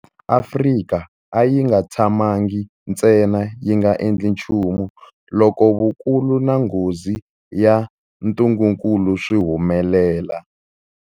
Afrika a yi nga tshamangi ntsena yi nga endli nchumu loko vukulu na nghozi ya ntungukulu swi humelela.